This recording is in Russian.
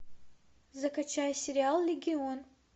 закачай сериал легион